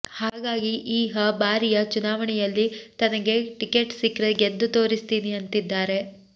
ಹಾಗಾಗಿ ಈ ಹ ಬಾರಿಯ ಚುನಾವಣೆಯಲ್ಲಿ ತನಗೆ ಟಿಕೆಟ್ ಸಿಕ್ರೆ ಗೆದ್ದು ತೋರಿಸ್ತೀನಿ ಅಂತಿದ್ದಾರೆ